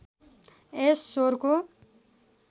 यस स्वरको